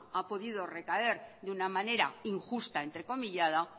ha podido recaer de una manera injusta entrecomillada